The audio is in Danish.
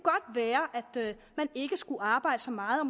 være at man ikke skulle arbejde så meget og